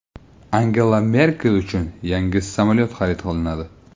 Angela Merkel uchun yangi samolyot xarid qilinadi.